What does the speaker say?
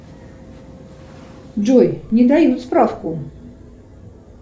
джой не дают справку